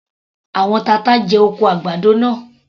Àwọn tata jẹ oko àgbàdo náà.